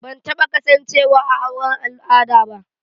Ban taba kasancewa a auren al'ada ba.